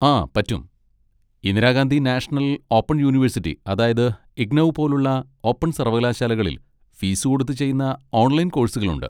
ആ, പറ്റും, Indira Gandhi national open university അതായത് ഇഗ്നൗ പോലുള്ള ഓപ്പൺ സർവ്വകലാശാലകളിൽ ഫീസുകൊടുത്ത് ചെയ്യുന്ന ഓൺലൈൻ കോഴ്സുകളുണ്ട്.